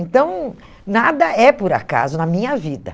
Então, nada é por acaso na minha vida.